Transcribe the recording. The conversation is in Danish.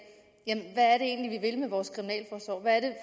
hvad er det egentlig vi vil med vores kriminalforsorg hvad er